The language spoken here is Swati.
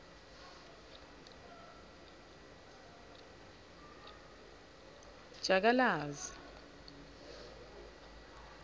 jakalazi